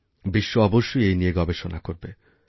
বিশ্ব অবশ্যই এই নিয়ে গবেষণাকরবে